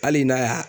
Hali n'a y'a